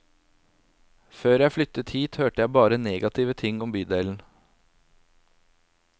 Før jeg flyttet hit hørte jeg bare negative ting om bydelen.